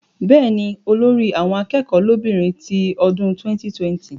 Bẹ́ẹ̀ni, olórí àwọn akẹ́kọ̀ọ́ lóbìnrin ti ọdún 2020